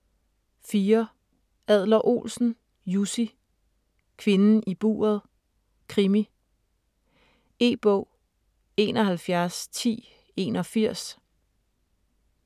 4. Adler-Olsen, Jussi: Kvinden i buret: krimi E-bog 711081